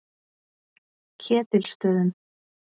Ketilsstöðum